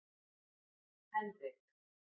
Henrik